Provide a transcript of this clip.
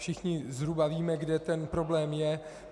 Všichni zhruba víme, kde ten problém je.